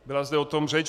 Byla zde o tom řeč.